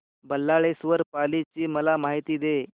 बल्लाळेश्वर पाली ची मला माहिती दे